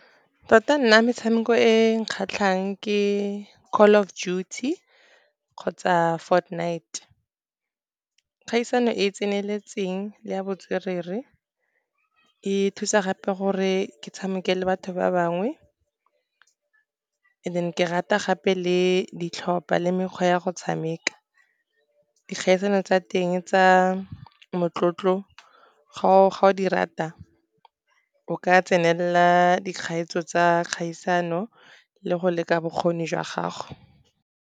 Tota nna metshameko e kgatlhang ke Call of Duty kgotsa Fortnite. Kgaisano e e tseneletseng ya botswerere, e thusa gape gore ke tshameke le batho ba bangwe, and then ke rata gape le ditlhopa le mekgwa ya go tshameka. Dikgaisano tsa teng tsa motlotlo ga o di rata o ka tsenela dikgaetso tsa kgaisano le go leka bokgoni jwa gago.